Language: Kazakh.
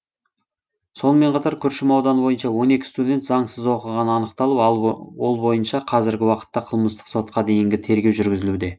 сонымен қатар күршім ауданы бойынша он екі студент заңсыз оқығаны анықталып ал ол бойынша қазіргі уақытта қылмыстық сотқа дейінгі тергеу жүргізілуде